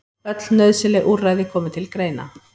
Öll nauðsynleg úrræði komi til greina